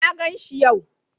Na ganshi yau.